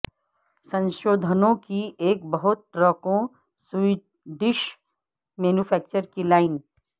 سنشودھنوں کی ایک بہت ٹرکوں سویڈش مینوفیکچرر کی لائن